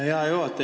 Hea juhataja!